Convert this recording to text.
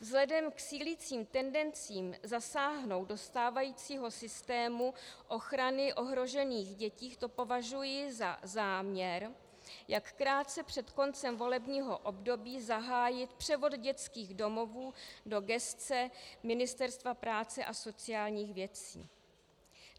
Vzhledem k sílícím tendencím zasáhnout do stávajícího systému ochrany ohrožených dětí to považuji za záměr, jak krátce před koncem volebního období zahájit převod dětských domovů do gesce Ministerstva práce asociálních věcí.